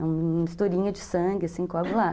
É uma misturinha de sangue, assim, coagular